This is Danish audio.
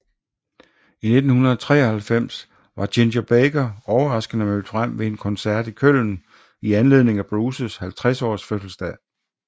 I 1993 var Ginger Baker overraskende mødt frem ved en koncert i Köln i anledning af Bruces 50 års fødselsdag